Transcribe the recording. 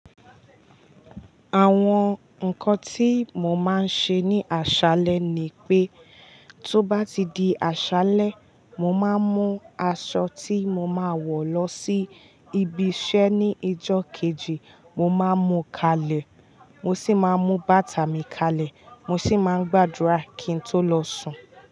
Àwọn nǹkan tí mo máa ń ṣe ní àṣálẹ́ ni pé, tó bá ti di àṣálẹ́, mo máa mú aṣọ tí mo máa wọ̀ lọ sí ibi iṣẹ́ ní ijó kejì. Mo máa mú kalẹ̀, mo sì máa mú bàtà mi kalẹ̀. Mo sì máa ń gbàdúrà kí n tó lọ sùn.